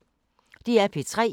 DR P3